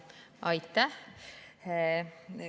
Aitäh!